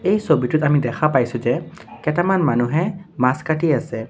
এই ছবিটোত আমি দেখা পাইছোঁ যে কেইটামান মানুহে মাছ কাটি আছে।